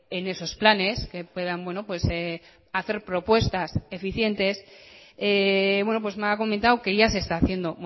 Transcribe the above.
en esos planes que puedan hacer propuestas eficientes me ha comentado que ya se está haciendo